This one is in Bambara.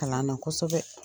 Kalan na kosɛbɛ.